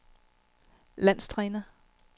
landstræner